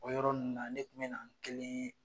O yɔrɔ nunnu na ne kun mɛ nan kelen ye